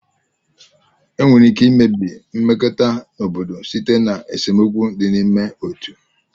Enwere ike imebi mmekọrịta obodo site na esemokwu dị n'ime otu.